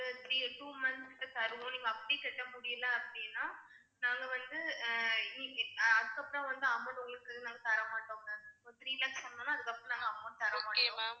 three, two months க்கு தருவோம் நீங்க அப்படி கட்ட முடியலை அப்படின்னா நாங்க வந்து ஆஹ் அதுக்கப்புறம் வந்து amount உங்களுக்கு நாங்க தர மாட்டோம் ma'am அதுக்கப்புறம் நாங்க amount